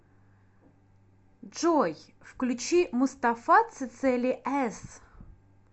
джой включи мустафа цецели эс